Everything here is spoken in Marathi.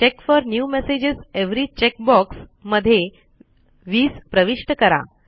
check for new messages every check box मध्ये 20प्रविष्ट करा